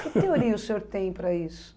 Que teoria o senhor tem para isso?